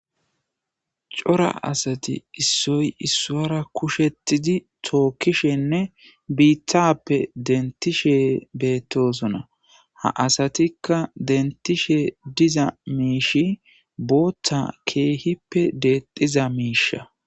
Cora asati issoy issuwara kushetidi tookishenne biitappe dentishe beettosona. Ha asatikka dentishe diza miishshay booththa keehippe deexiza miishsha.